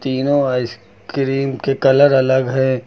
तीनों आइसक्रीम के कलर अलग है।